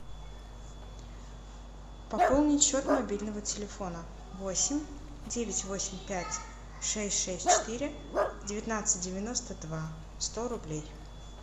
пополнить счет мобильного телефона восемь девять восемь пять шесть шесть четыре девятнадцать девяносто два сто рублей